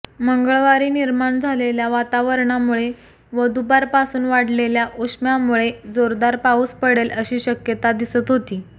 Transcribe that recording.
मंगळवारी निर्माण झालेल्या वातावरणमुळे व दुपारपासून वाढलेल्या उष्म्यामुळे जोरदार पाऊस पडेल अशी शक्यता दिसत होती